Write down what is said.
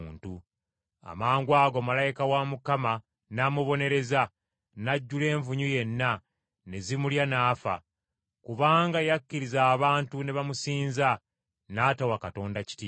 Amangwago malayika wa Mukama n’amubonereza, n’ajjula envunyu yenna, ne zimulya n’afa, kubanga yakkiriza abantu ne bamusinza, n’atawa Katonda kitiibwa.